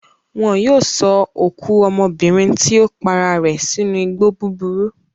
Wọn yóò sọ òkú ọmọbìnrin tí ó para rẹ̀ sínú igbó búburú.